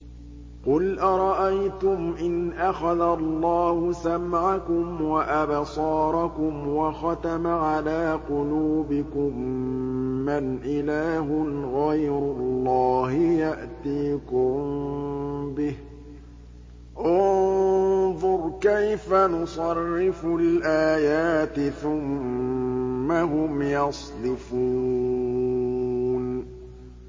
قُلْ أَرَأَيْتُمْ إِنْ أَخَذَ اللَّهُ سَمْعَكُمْ وَأَبْصَارَكُمْ وَخَتَمَ عَلَىٰ قُلُوبِكُم مَّنْ إِلَٰهٌ غَيْرُ اللَّهِ يَأْتِيكُم بِهِ ۗ انظُرْ كَيْفَ نُصَرِّفُ الْآيَاتِ ثُمَّ هُمْ يَصْدِفُونَ